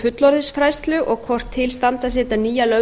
fullorðinsfræðslu og hvort til standi að setja nýja löggjöf